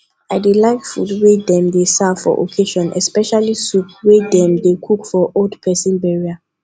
i dey like food wey dem dey serve for occassion especially soup wey dem cook for old person burial